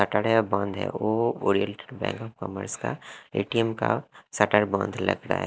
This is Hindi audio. सैटरडे है बंद है वो ओरिएंटल बैंक ऑफ कॉमर्स का ए_टी_एम का शटर बंद लग रहा है।